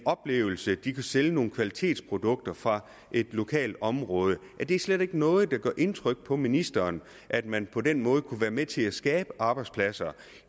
oplevelser sælge nogle kvalitetsprodukter fra et lokalt område er det slet ikke noget der gør indtryk på ministeren at man på den måde kunne være med til at skabe arbejdspladser